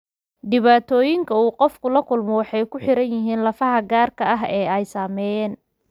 Dhibaatooyinka uu qofku la kulmo waxay ku xiran yihiin lafaha gaarka ah ee ay saameeyeen.